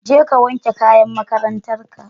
Je ka wanke kayan makarantan ka.